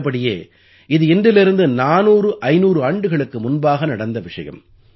உள்ளபடியே இது இன்றிலிருந்து 400500 ஆண்டுகளுக்கு முன்பாக நடந்த விஷயம்